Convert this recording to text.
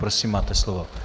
Prosím máte slovo.